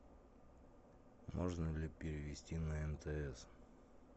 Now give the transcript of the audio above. можно ли перевести на мтс